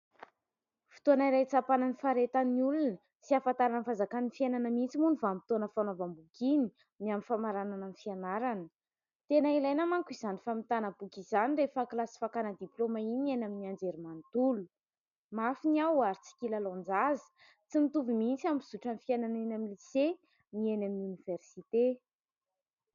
Fotoana iray hitsapana ny faharetan'ny olona sy ahafantarany ny fahazakany ny fiainana mihintsy moa iny vanim-potoana fanaovam-boky iny . Amin'ny famaranana ny fianarana, tena ilaina manko izany famitana boky izany rehefa kilasy fakana diplaoma iny, ny amin'ny anjery mantolo ; mafy ny ao ary tsy kilalaon-jaza. Tsy nitovy mihintsy amin'ny fizotry ny fiainana eny amin'ny lise ny eny amin'ny oniversite.